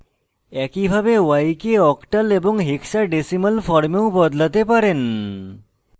একইভাবে y কে octal এবং hexadesimal ফর্মেও বদলাতে পারেন